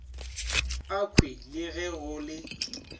akhwi le ge go le